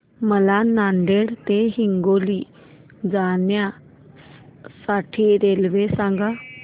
मला नांदेड ते हिंगोली जाण्या साठी रेल्वे सांगा